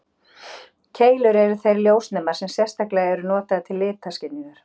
Keilur eru þeir ljósnemar sem sérstaklega eru notaðir til litaskynjunar.